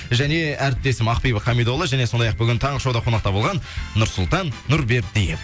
және әріптесім ақбибі хамидолла және сондай ақ бүгін таңғы шоуда қонақта болған нұрсұлтан нұрбердиев